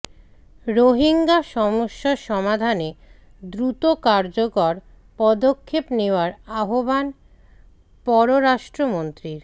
রোহিঙ্গা সমস্যা সমাধানে দ্রুত কার্যকর পদক্ষেপ নেওয়ার আহ্বান পররাষ্ট্রমন্ত্রীর